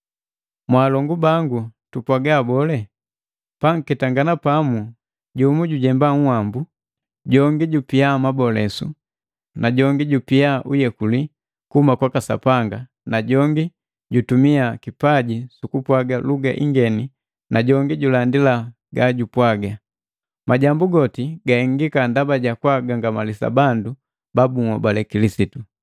Mwalongu baa tupwaga bole? Panketangana pamu, jumu jujemba uwambu, jongi jupia mabolesu na jongi jubia uyekuli kuhuma kwaka Sapanga na jongi jutumia kipaji sukupwaga luga ingeni na jongi julandi gajupwaga. Majambu goti gahengika ndaba jukugangamalisa bandu babuhobale Kilisitu.